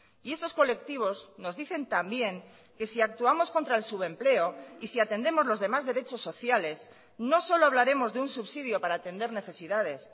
y estos colectivos nos dicen también que si actuamos contra el subempleo y si atendemos los demás derechos sociales no solo hablaremos de un subsidio para atender necesidades